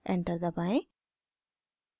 enter दबाएं